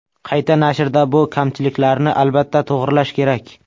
Qayta nashrda bu kamchiliklarni albatta to‘g‘rilash kerak.